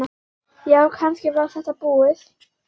Já, kannski var þetta búið.